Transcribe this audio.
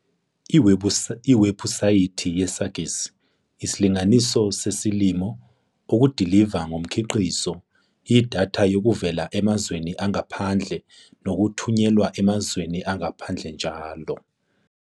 Iwebhusayithi ye-SAGIS. Isilinganiso sesilimo, okudiliva ngumkhiqizi, idatha yokuvela emazweni angaphandle nokuthunyelwa emazweni angaphandle njll.